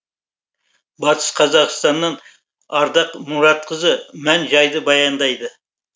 батыс қазақстаннан ардақ мұратқызы мән жайды баяндайды